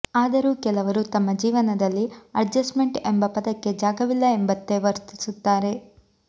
ಆದರೂ ಕೇಲವರು ತಮ್ಮ ಜೀವನದಲ್ಲಿ ಅಡ್ಜೆಸ್ಟ್ಮೆಂಟ್ ಎಂಬ ಪದಕ್ಕೆ ಜಾಗವಿಲ್ಲ ಎಂಬಂತೆ ವರ್ತಿಸುತ್ತಾರೆ